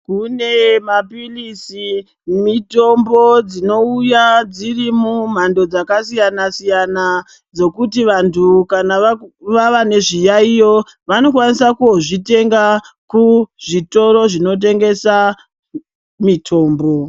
Kune mapilisi nemitombo dzinouya dziri mumhando dzakasiyana siyana dzokuti vandu kana vava nezviyayiyo vanokwanisa kuzvitenga kuzvitoro zvinotengesa mitombo.